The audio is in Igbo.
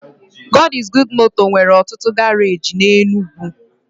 God is Good moto nwere otutu garaji n'Enugwu.